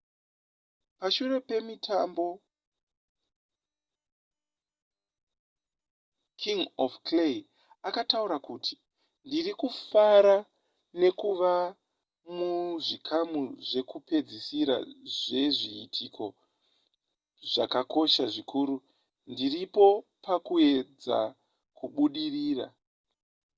pashure pemutambo king of clay akataura kuti ndiri kufara nekuva muzvikamu zvekupedzisira zvezviitiko zvakakosha zvikuru ndiripo pakuedza kubudirira